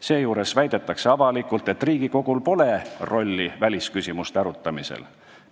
Seejuures väidetakse avalikult, et Riigikogul pole välisküsimuste arutamisel rolli.